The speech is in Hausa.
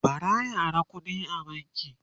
bara ya Ara kuɗi a banki